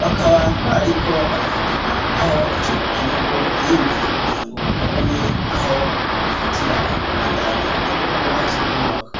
bakaba bariko barafotora aho ico kinogo kimbwe kugirango babone aho bofatira mu kubandanya ibikorwa vy'ukubaka.